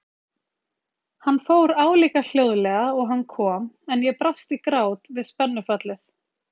Hann fór álíka hljóðlega og hann kom en ég brast í grát við spennufallið.